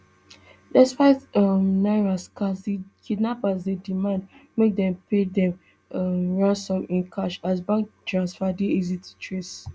despite say um naira scarce di kidnappers dey demand make dem pay dem um ransom in cash as bank transfer dey easy to trace